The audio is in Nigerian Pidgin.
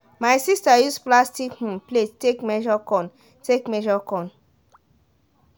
my sister use plastic um plate take measure corn. take measure corn.